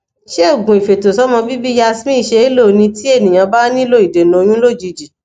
se ogun ifeto somo bibi yasmin se lo ni ti eniyan ba nilo idena oyun lojiji